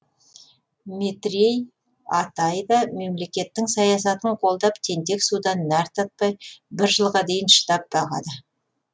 метрей атай да мемлекеттің саясатын қолдап тентек судан нәр татпай бір жылға дейін шыдап бағады